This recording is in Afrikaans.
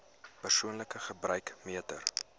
persoonlike gebruik meter